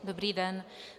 Dobrý den.